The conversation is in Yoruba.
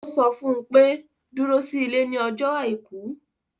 Ó sọ fún un pe: dúró sí ilé ní ọjọ́ àìkú.